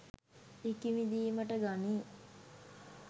ඉකිබිඳීමට ගනී